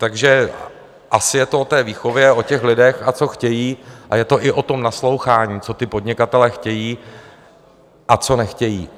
Takže asi je to o té výchově, o těch lidech, a co chtějí, a je to i o tom naslouchání, co ti podnikatelé chtějí a co nechtějí.